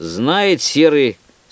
знает серый